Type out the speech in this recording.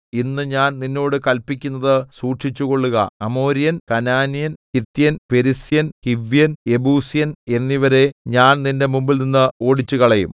ഇന്ന് ഞാൻ നിന്നോട് കല്പിക്കുന്നത് സൂക്ഷിച്ചുകൊള്ളുക അമോര്യൻ കനാന്യൻ ഹിത്യൻ പെരിസ്യൻ ഹിവ്യൻ യെബൂസ്യൻ എന്നിവരെ ഞാൻ നിന്റെ മുമ്പിൽനിന്ന് ഓടിച്ചുകളയും